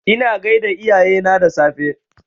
Ina gaida iyayena da safe